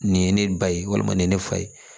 Nin ye ne ba ye walima nin ye ne fa ye